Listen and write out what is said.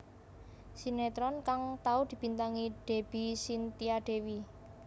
Sinetron kang tau dibintangi Deby Cynthia Dewi